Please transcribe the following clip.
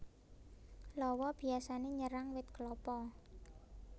Lawa biyasané nyerang wit klapa